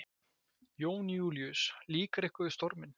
Jón Júlíus: Líkar ykkur við storminn?